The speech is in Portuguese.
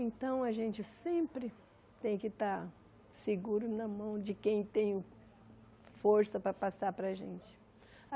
Então, a gente sempre tem que estar seguro na mão de quem tem força para passar para a gente.